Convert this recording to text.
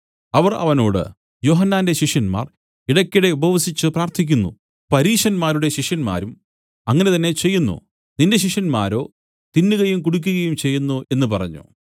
അവർ അവനോട് യോഹന്നാന്റെ ശിഷ്യന്മാർ ഇടയ്ക്കിടെ ഉപവസിച്ചു പ്രാർത്ഥിക്കുന്നു പരീശന്മാരുടെ ശിഷ്യന്മാരും അങ്ങനെ തന്നെ ചെയ്യുന്നു നിന്റെ ശിഷ്യന്മാരോ തിന്നുകയും കുടിക്കുകയും ചെയ്യുന്നു എന്നു പറഞ്ഞു